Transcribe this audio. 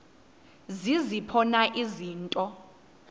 ziziphi na izinto